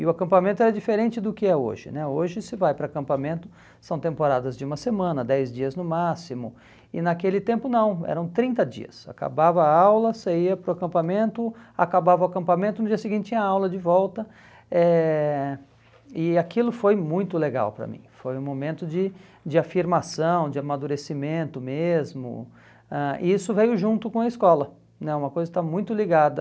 E o acampamento era diferente do que é hoje né, hoje se vai para acampamento são temporadas de uma semana, dez dias no máximo, e naquele tempo não, eram trinta dias, acabava a aula, você ia para o acampamento, acabava o acampamento, no dia seguinte tinha aula de volta, eh e aquilo foi muito legal para mim, foi um momento de de afirmação, de amadurecimento mesmo, ãh e isso veio junto com a escola né, uma coisa que está muito ligada